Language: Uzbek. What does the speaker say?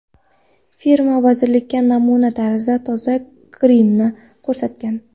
Firma vazirlikka namuna tarzida toza grimni ko‘rsatgan.